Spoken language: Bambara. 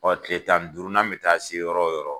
Ɔ kile tan ni duuru na bɛ taa se yɔrɔ o yɔrɔ.